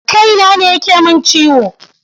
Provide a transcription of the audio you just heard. Kaina ne yake ciwo.